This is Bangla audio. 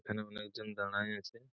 এখানে অনেক জন দাড়ায় আছে।